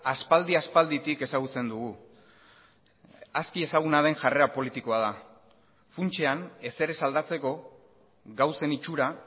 aspaldi aspalditik ezagutzen dugu aski ezaguna den jarrera politikoa da funtsean ezer ez aldatzeko gauzen itxura